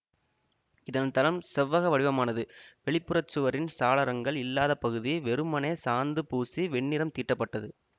இதன் தளம் செவ்வக வடிவானது வெளிப்புறச் சுவரின் சாளரங்கள் இல்லாத பகுதி வெறுமனே சாந்து பூசி வெண்ணிறம் தீட்டப்பட்டது